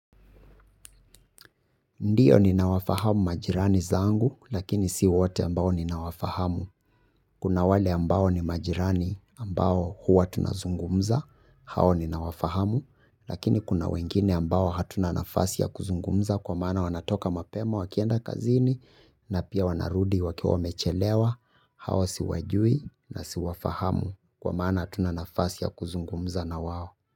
Ndiyo ninawafahamu majirani zangu, lakini si wote ambao ninawafahamu. Kuna wale ambao ni majirani ambao huwa tunazungumza, hao ninawafahamu. Lakini kuna wengine ambao hatuna nafasi ya kuzungumza kwa maana wanatoka mapema wakienda kazini na pia wanarudi wakiwa wamechelewa, hawa siwajui na siwafahamu kwa maana hatuna nafasi ya kuzungumza na wao.